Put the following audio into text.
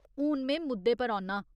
हून में मुद्दे पर औन्नां ।